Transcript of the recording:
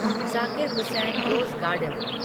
Zakir Hussain Rose garden